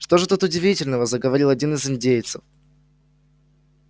что же тут удивительного заговорил один из индейцев